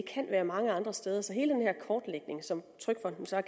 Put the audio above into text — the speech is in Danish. kan være mange andre steder så hele den her kortlægning som trygfonden så